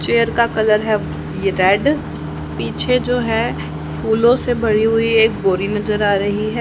Chair का colour है ये रेड पीछे जो है फूलो से भरी हुई एक बोरी नजर आ रही है।